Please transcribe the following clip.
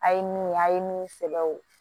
A' ye min ye a' ye min sɛbɛ o